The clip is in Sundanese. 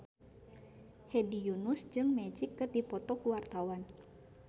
Hedi Yunus jeung Magic keur dipoto ku wartawan